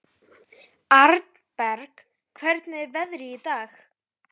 Arnberg, hvernig er veðrið í dag?